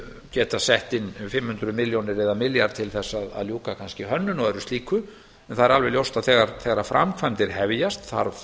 geta sett inn fimm hundruð milljónir eða milljarð til þess að ljúka kannski hönnun eða öðru slíku en það er alveg ljóst að þegar framkvæmdir hefjast þarf